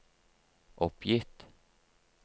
oppgitt